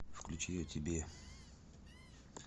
включи о тебе